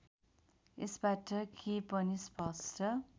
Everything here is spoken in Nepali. यसबाट के पनि स्पष्ट